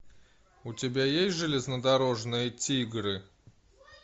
у тебя есть железнодорожные тигры